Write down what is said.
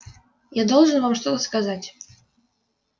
я должен вам что-то сказать